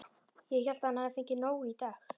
Ég hélt að hann hefði fengið nóg í dag.